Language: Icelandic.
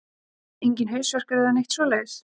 Enginn hausverkur eða neitt svoleiðis?